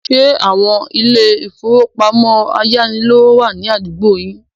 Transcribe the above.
Ṣé àwon ilé-ìfowópamọ́ ayánilówó wà ní àdúgbò yín?